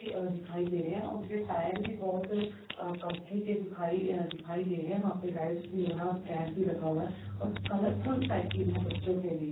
अ दिखाई दे रहे है और उनके टायर भी बोहोत कंपनी के दिखाई दिखाई दे रहे वहां पे लाइट्स भी ऑन हैं और फैन भी लगा हुआ है और कलरफुल साइकिल हैं बच्चों के लिए।